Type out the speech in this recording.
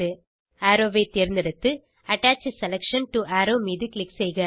arrow ஐ தேர்ந்தெடுத்து attach selection to arrow மீது க்ளிக் செய்க